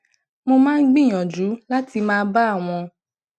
mo máa ń gbìyànjú láti má bá àwọn